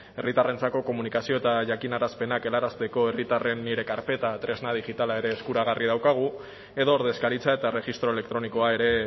herritarrentzako komunikazio eta jakinarazpenak helarazteko herritarren nire karpeta tresna digitala ere eskuragarri daukagu edo ordezkaritza eta erregistro elektronikoa ere